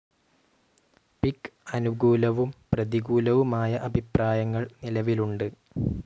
പിക്ക്‌ അനുകൂലവും പ്രതികൂലവുമായ അഭിപ്രായങ്ങൾ നിലവിലുണ്ട്.